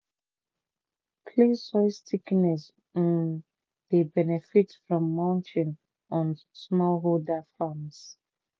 clay soil stickiness um dey benefit from mulching on smallholder farms